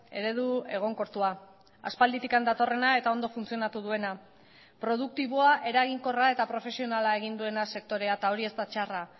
eredu egonkortua aspalditik datorrena eta ondo funtzionatu duena produktiboa eraginkorra eta profesionala egin duena sektorea eta hori ez da txarra